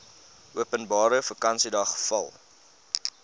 openbare vakansiedag val